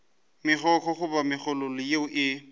megokgo goba megololo yeo e